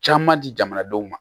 Caman di jamanadenw ma